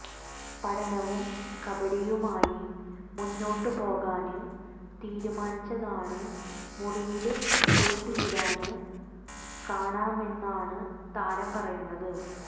പഠനവും കബഡിയുമായി മുന്നോട്ട് പോകാന് തീരുമാനിച്ചതാണ് മുറിയില് പൂട്ടിയിടാന് കാണമെന്നാണ് താരം പറയുന്നത്